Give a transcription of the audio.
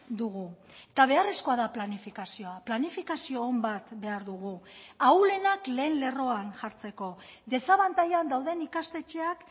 dugu eta beharrezkoa da planifikazioa planifikazio on bat behar dugu ahulenak lehen lerroan jartzeko desabantailan dauden ikastetxeak